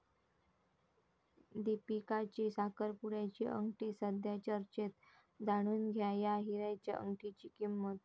दीपिकाची साखरपुड्याची अंगठी सध्या चर्चेत, जाणून घ्या या हिऱ्याच्या अंगठीची किंमत